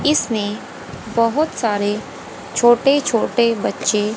इसमें बहोत सारे छोटे छोटे बच्चे--